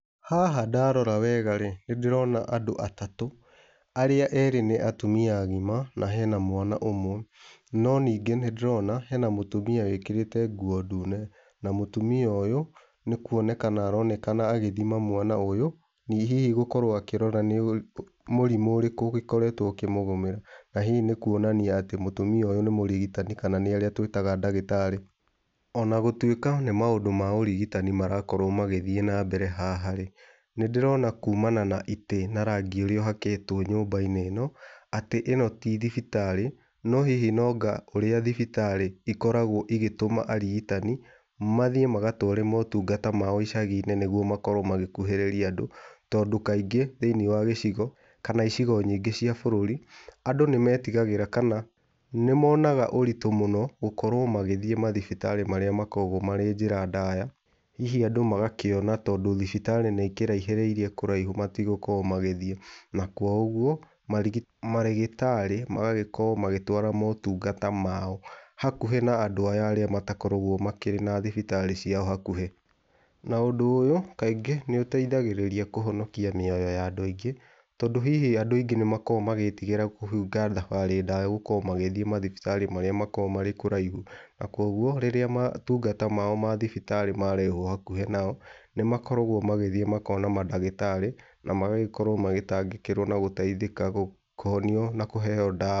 Haha ndarora wega rĩ, nĩ ndĩrona andũ atatũ arĩa ere nĩ atumia agima na hena mwana ũmwe. No ningĩ nĩndĩrona hena mũtumia wĩkĩrĩte nguo ndune, na mũtumia ũyũ nĩ kwonekana agĩthima mwana ũyũ ĩ hihi akĩrora nĩ mũrimũ ũrĩkũ ũkoretwo ũkĩmũgũmĩra, na hihi nĩkwonania mũtumia ũyũ nĩ mũrigitani kana nĩ arĩa twĩtaga ndagĩtarĩ. Ona gũtwĩka nĩ maũndũ ma ũrigitani marakorwo magĩthiĩ na mbere haha rĩ, nĩ ndĩrona kumana na itĩ na rangi ũrĩa ũhakĩtwo nyũmba-inĩ ĩno, atĩ ĩno tithibitarĩ no hihi nanga ũrĩa thibitarĩ ikoragwo igĩtũma arigitani mathiĩ magatware motungata mao icagi-inĩ nĩguo makorwo magĩkuhĩrĩria andũ. Tondũ, kaingĩ thĩiniĩ wa gĩcigo kana icigo nyingĩ cia kĩbũrũri andũ nĩ metigagĩra kana nĩ monaga moritũ mũno gũkoro magĩthiĩ thibitarĩ marĩa makoragwo marĩ njĩra ndaya. Hihi magakĩona tondũ thibitarĩ nĩ ikĩrahĩrĩirie kũraihu matigũkorwo magĩthiĩ. Na kwa ũguo marĩgĩtarĩ magagĩkorwo magĩtwara mũtungata mao hakuhĩ na andũ arĩa matakoragwo makĩrĩ na thibitarĩ ciao hakuhĩ. Na ũndũ ũyũ kaingĩ nĩ ũteithagĩrĩria kũhonokia mĩoyo ya andũ aingĩ tondũ, hihi andũ aingĩ nĩ makoragwo thabarĩ ndaya magĩthiĩ mathibitarĩ marĩa makoragwo mekũraihu, na koguo, rĩrĩa motungata mao thibitarĩ marehwo hakuhĩ nao nĩmakoragwo magĩthiĩ kuona mandagĩtarĩ na magakorwo magĩtangĩkĩrwo na gũteithĩka, kũhonio na kũheo ndawa.